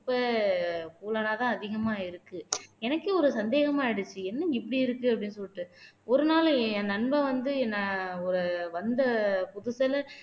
குப்பை ஆதான் அதிகமா இருக்கு எனக்கே ஒரு சந்தேகமா ஆயிடுச்சு என்ன இப்படி இருக்கு அப்படின்னு சொல்லிட்டு ஒரு நாள் என் நண்பன் வந்து என்னை ஒரு வந்த புதுசுல